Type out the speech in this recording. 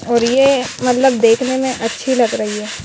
ये मतलब देखने में अच्छी लग रही है।